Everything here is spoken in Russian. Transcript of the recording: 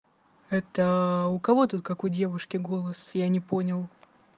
это у кого тут как у девушки голос я не понял